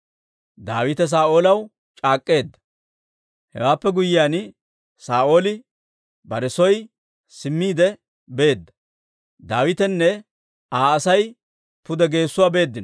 Daawite Saa'oolaw c'aak'k'eedda. Hewaappe guyyiyaan, Saa'ooli bare soo simmiide beedda; Daawitenne Aa Asay pude geessuwaa beeddino.